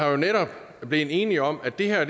jo netop blevet enige om at det her